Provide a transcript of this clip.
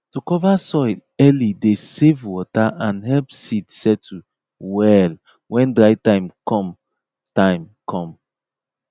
to cover soil early dey save water and help seed settle well when dry time com time com